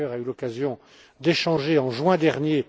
Becker a eu l'occasion d'échanger en juin dernier.